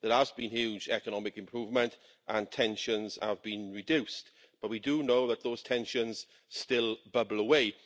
There has been huge economic improvement and tensions have been reduced, but we do know that those tensions still bubble away.